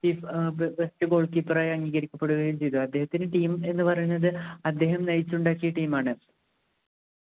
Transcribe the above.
ഏർ best goal keeper ആയി അംഗീകരിക്കപെടുകയും ചെയ്തു അദ്ദേഹത്തിനു team എന്നു പറയുന്നത് അദ്ദേഹം നയിച്ച് ഉണ്ടാക്കിയ team ആണ്